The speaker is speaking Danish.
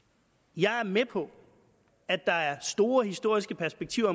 jeg er med på at der er store historiske perspektiver